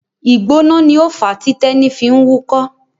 Ìgbóná ni ó fàá tí Tẹ́ní fi ń wúkọ́.